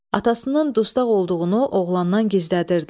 Atasının dustaq olduğunu oğlandan gizlədirdilər.